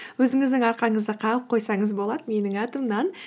өзіңіздің арқаңызды қағып қойсаңыз болады менің атымнан